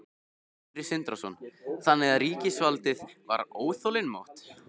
Sindri Sindrason: Þannig að ríkisvaldið var óþolinmótt?